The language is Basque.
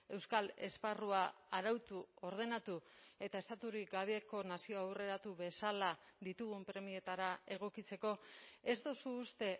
euskal esparrua arautu ordenatu eta estaturik gabeko nazio aurreratu bezala ditugun premietara egokitzeko ez duzu uste